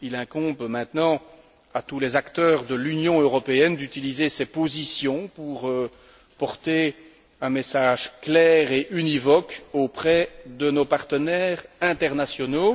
Il incombe maintenant à tous les acteurs de l'Union européenne d'utiliser ces positions pour porter un message clair et univoque auprès de nos partenaires internationaux.